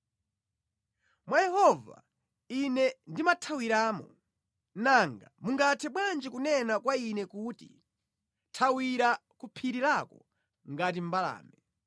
Mwa Yehova ine ndimathawiramo. Nanga mungathe bwanji kunena kwa ine kuti, “Thawira ku phiri lako ngati mbalame.